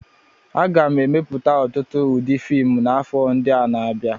A ga-emepụta ọtụtụ ụdị fiimu n'afọ ndị na-abịa.